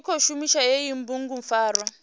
tshi khou shumisa hei bugupfarwa